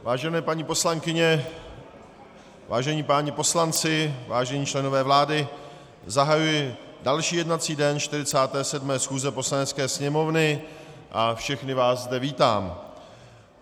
Vážené paní poslankyně, vážení páni poslanci, vážení členové vlády, zahajuji další jednací den 47. schůze Poslanecké sněmovny a všechny vás zde vítám.